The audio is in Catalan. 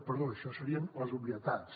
perdó això serien les obvietats